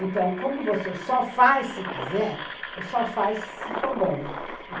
Então, como você só faz se quiser, só faz se for bom, né.